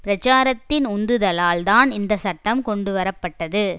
பிரச்சாரத்தின் உந்துதலால்தான் இந்த சட்டம் கொண்டுவர பட்டது